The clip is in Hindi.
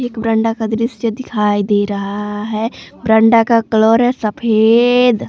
बरांडा का दृश्य दिखाई दे रहा है बरांडा का कलर सफेद --